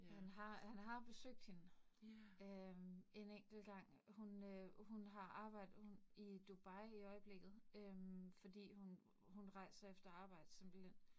Han har, han har jo besøgt hende, øh en enkelt gang. Hun øh hun har arbejdet hun i Dubai i øjeblikket øh fordi hun hun rejser efter arbejde simpelthen